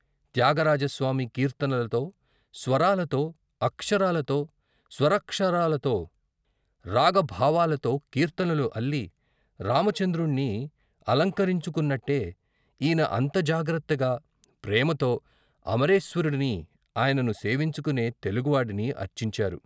త్యాగరాజస్వామి, కీర్తనలతో, స్వరాలతో, అక్షరాలతో, స్వరాక్షరాలతో, రాగభావాలతో కీర్తనలు అల్లి రామచంద్రుడిని అలంకరించు కున్నట్టే ఈయన అంత జాగ్రత్తగా, ప్రేమతో అమరేశ్వరుడిని, ఆయనను సేవించుకునే తెలుగువాడిని అర్చించారు.